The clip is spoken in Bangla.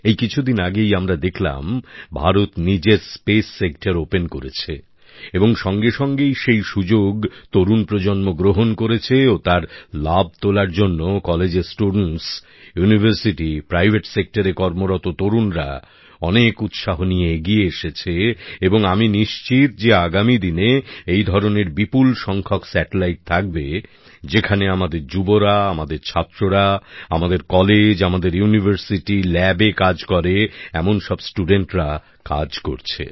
এই কিছুদিন আগেই আমরা দেখলাম ভারত নিজের মহাকাশ ক্ষেত্রকে উন্মুক্ত করেছে এবং সঙ্গে সঙ্গেই সেই সুযোগ তরুণ প্রজন্ম গ্রহণ করেছে ও তার লাভ তোলার জন্য কলেজের ছাত্রছাত্রী বিশ্ববিদ্যালয় বেসরকারী ক্ষেত্রে কর্মরত তরুণরা অনেক উৎসাহ নিয়ে এগিয়ে এসেছে এবং আমি নিশ্চিত যে আগামী দিনে এই ধরনের বিপুল সংখ্যক কৃত্রিম উপগ্রহ থাকবে যেখানে আমাদের যুবরা আমাদের ছাত্ররা আমাদের কলেজ আমাদের ইউনিভার্সিটি পরীক্ষাগারে কাজ করে এমন সব ছাত্রছাত্রীরা কাজ করেছে